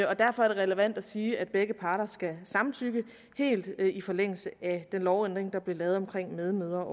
og derfor er det relevant at sige at begge parter skal samtykke helt i forlængelse af den lovændring der blev lavet om medmødre